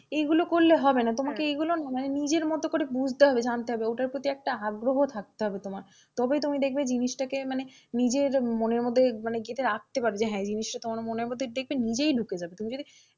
এগুলো করলে হবে না, তোমাকে এগুলো না মানে নিজের মতো করে বুঝতে হবে জানতে হবে ওটার প্রতি একটা আগ্রহ থাকতে হবে তোমার তবেই তুমি দেখবে জিনিসটাকে মানে নিজের মনের মধ্যে মানে গেঁথে রাখতে পারবে যে হ্যাঁ এই জিনিসটা তোমার মনের মধ্যে দেখবে নিজেই ঢুকেই যাবে তুমি যদি,